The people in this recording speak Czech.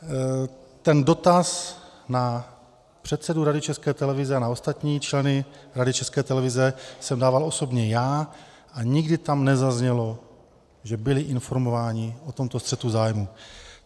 Ten dotaz na předsedu Rady České televize a na ostatní členy Rady České televize jsem dával osobně já a nikdy tam nezaznělo, že byli informováni o tomto střetu zájmů.